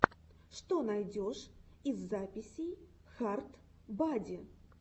что найдешь из записей хард бади